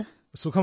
how are you